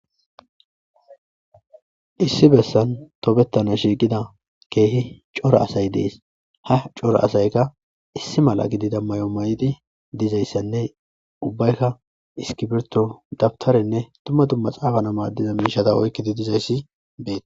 Issi bessan tobettana shiiqida keehi coro asay dees ha coro asayka issi mala gidida mayo mayidi dizayssanne ubbaykka iskiberto dabtarenne tumma dumma xaafana maaddiza miishata oykkidi dizayssi beet